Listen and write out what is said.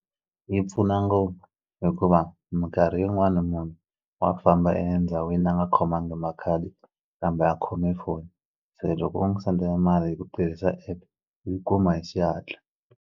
Yi pfuna ngopfu hikuva minkarhi yin'wani munhu wa famba endhawini a nga khomangi makhadi kambe a khome foni se loko u n'wi sendela mali hi ku tirhisa app i yi kuma hi xihatla.